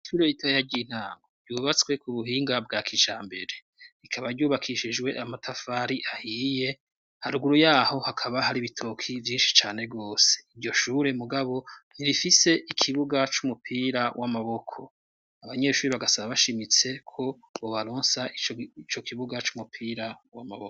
Ishure ritoya ry'intango ryubatswe ku buhinga bwa kijambere, rikaba ryubakishijwe amatafari ahiye, haruguru yaho hakaba hari ibitoki vyinshi cane gose, iryo shure mugabo ntirifise ikibuga c'umupira w'amaboko, abanyeshuri bagasaba bashimitse ko bobaronsa ico kibuga c'umupira w'amaboko.